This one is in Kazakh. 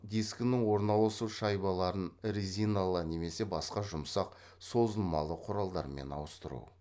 дискінің орналасу шайбаларын резиналы немесе басқа жұмсақ созылмалы құралдармен ауыстыру